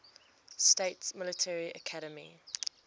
states military academy